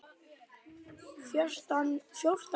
Fjórtán ár!